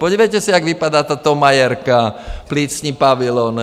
Podívejte se, jak vypadá ta Thomayerka, plicní pavilon.